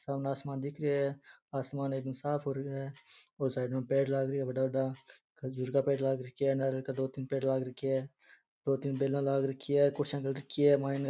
सामने आसमान दिख रे है आसमान एकदम साफ हो रखा है और साइड मा पेड़ लाग री है बड़ा बड़ा खजूर का पेड़ लाग रखिये है नारियल का दो तीन पेड़ लाग रखी है दो तीन बेला लाग रखी है और कुर्सीया डल रखी है माइने।